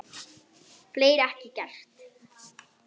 Fleiri ekki gert.